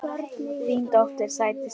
Þín dóttir, Sædís María.